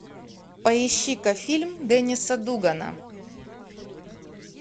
поищи ка фильм денниса дугана